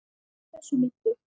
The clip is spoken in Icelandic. Hversu meiddur?